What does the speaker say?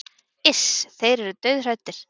Iss, þeir eru dauðhræddir